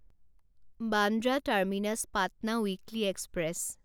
Bandra terminus Patna weekly express